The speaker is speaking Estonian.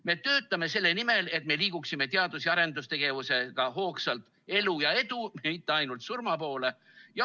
Me töötame selle nimel, et me liiguksime teadus‑ ja arendustegevusega hoogsalt elu ja edu, mitte ainult surma poole.